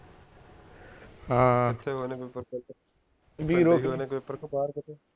ਕਿਥੇ ਹੋਏ ਨੇ ਕੇ ਬਾਹਰ ਕਿਤੇ